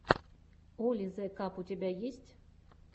оли зе каб у тебя есть